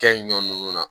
Kɛ ɲɔn nunnu na